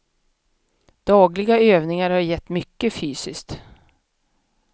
Dagliga övningar har gett mycket fysiskt.